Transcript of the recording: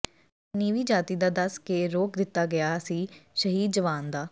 ਜਦੋਂ ਨੀਵੀਂ ਜਾਤੀ ਦਾ ਦੱਸ ਕੇ ਰੋਕ ਦਿਤਾ ਗਿਆ ਸੀ ਸ਼ਹੀਦ ਜਵਾਨ ਦਾ